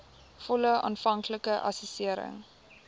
volle aanvanklike assessering